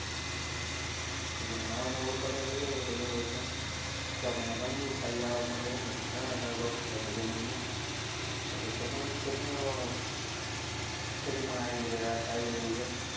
કેમ કે એમાં નવા નવા ઉત્પાદન લઈએ આવીએ તો દર વર્ષે તો આપણે એમાં ઘણી બધી એવી સારી અવાક મળી રહે અને ઘણા આપણી જમીનમાં technology ખેતી પણ રહી છે.